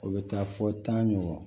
O bɛ taa fɔ tan ɲɔgɔn